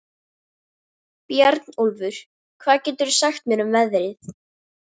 Bjarnólfur, hvað geturðu sagt mér um veðrið?